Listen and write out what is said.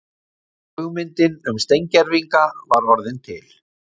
Hugmyndin um steingervinga var orðin til.